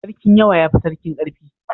Sarkin yawa ya fi sarkin ƙarfi